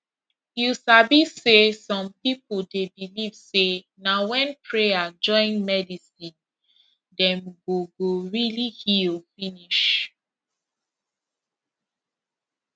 you sabi say some people dey believe say na when prayer join medicine dem go go really heal finish